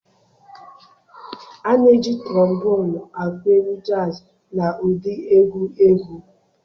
A na-eji Trombonụ akụ egwu jazz na ụdị egwu egwu.